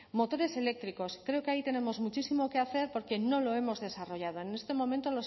motores eléctricos creo que ahí tenemos muchísimo que hacer porque no lo hemos desarrollado en este momento